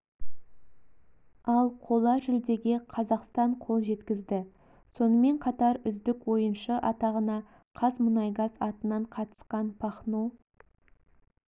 ал қола жүлдеге қазақстан қол жеткізді сонымен қатар үздік ойыншы атағына қазмұнайгаз атынан қатысқан пахно